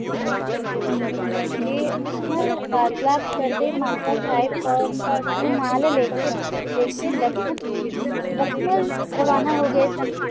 ਦਖੋ ਉਸ ਨਾਲ ਫਾਸਲਾ ਕਰ ਦਾ ਮਾਤਾ ਸਾਹਿਬ ਨਾਲ ਨਾਲ ਲਾ ਕਾ ਦਸਾਂ ਲਾ ਕਾ ਦੱਸਾਂ ਫੁੱਲ ਰੋਵਣਾ ਹੋ ਗਯਾ ਸਨ